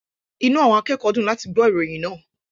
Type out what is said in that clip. Inú àwọn akẹ́kọ̀ọ́ dùn láti gbọ́ ìròyìn náà.